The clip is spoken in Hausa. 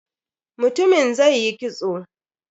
Mutumin zai yi kitso.